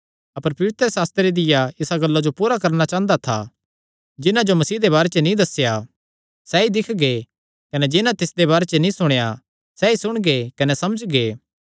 अपर पवित्रशास्त्रे दिया इसा गल्ला जो पूरा करणा चांह़दा था जिन्हां जो मसीह दे बारे च नीं दस्सेया सैई दिक्खगे कने जिन्हां तिसदे बारे च नीं सुणेया सैई सुणगे कने समझगे